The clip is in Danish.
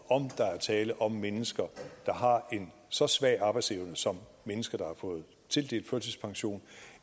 om der er tale om mennesker der har en så svag arbejdsevne som mennesker der har fået tildelt førtidspension